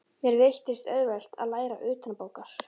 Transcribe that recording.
Mér veittist auðvelt að læra utanbókar.